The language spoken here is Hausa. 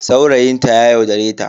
Saurayin ta ya yaudare ta.